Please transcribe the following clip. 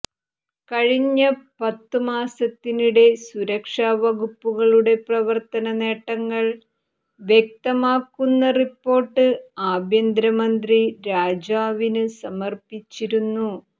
കഴിഞ്ഞ പത്തു മാസത്തിനിടെ സുരക്ഷാ വകുപ്പുകളുടെ പ്രവർത്തന നേട്ടങ്ങൾ വ്യക്തമാക്കുന്ന റിപ്പോർട്ട് ആഭ്യന്തര മന്ത്രി രാജാവിന് സമർപ്പിച്ചിരുന്നു